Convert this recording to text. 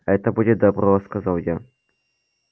это будет добро сказал я